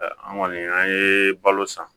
An kɔni an ye balo san